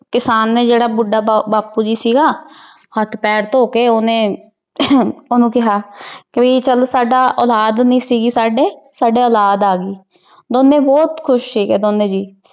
ਕਿਸਾਨ ਨੇ ਜਿਹੜਾ ਬੁੱਢਾ ਬਾਪੂ ਜੀ ਸੀਗਾ, ਹੱਥ ਪੈਰ ਧੋ ਕੇ ਉਹਨੇ ਉਹਨੂੰ ਕਿਹਾ ਪੀ ਚੱਲ ਸਾਡਾ ਔਲਾਦ ਨੀ ਸੀਗੀ ਸਾਡੇ, ਸਾਡੇ ਓਲਾਦ ਆਗੀ। ਦੋਨੇ ਬਹੁਤ ਖੁਸ਼ ਸੀਗੇ, ਦੋਨੋ ਜੀ।